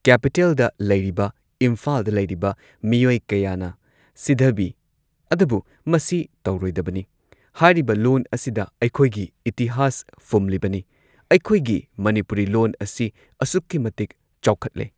ꯀꯦꯄꯤꯇꯦꯜꯗ ꯂꯩꯔꯤꯕ ꯏꯝꯐꯥꯜꯗ ꯂꯩꯔꯤꯕ ꯃꯤꯑꯣꯏ ꯀꯌꯥꯅ ꯁꯤꯙꯕꯤ ꯑꯗꯨꯕꯨ ꯃꯁꯤ ꯇꯧꯔꯣꯏꯗꯕꯅꯤ ꯍꯥꯏꯔꯤꯕ ꯂꯣꯟ ꯑꯁꯤꯗ ꯑꯩꯈꯣꯏꯒꯤ ꯏꯇꯤꯍꯥꯁ ꯐꯨꯝꯂꯤꯕꯅꯤ ꯑꯩꯈꯣꯏꯒꯤ ꯃꯅꯤꯄꯨꯔꯤ ꯂꯣꯟ ꯑꯁꯤ ꯑꯁꯨꯛꯀꯤ ꯃꯇꯤꯛ ꯆꯥꯎꯈꯠꯂꯦ꯫